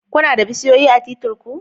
Kuna da bishiyoyi a titir ku?